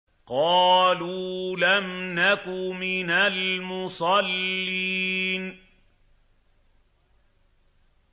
قَالُوا لَمْ نَكُ مِنَ الْمُصَلِّينَ